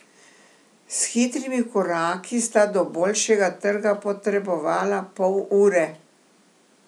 S hitrimi koraki sta do bolšjega trga potrebovala pol ure.